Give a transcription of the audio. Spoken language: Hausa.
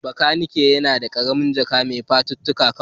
Makanikin yana da ƙaramin Jack mai fafutuka kawai